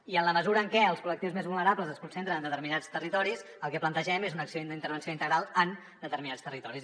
i en la mesura en què els col·lectius més vulnerables es concentren en determinats territoris el que plantegem és una acció d’intervenció integral en determinats territoris